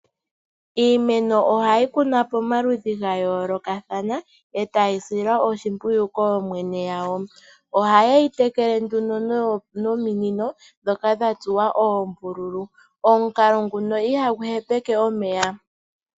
Iimeno ohayi kunwa pamaludhi ga yoolokathana eta yi silwa oshimpwiyu kooyene yawo . Oha ye yi tekele nduno nominino ndhoka dha dha tsuwa oombululu. Omukalo nguka ihagu hepeke omeya.